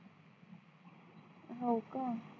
हो का